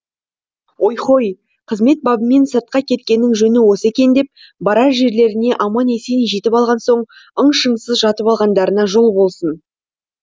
ой хой қызмет бабымен сыртқа кеткеннің жөні осы екен деп барар жерлеріне аман есен жетіп алған соң ың шыңсыз жатып алғандарына жол болсын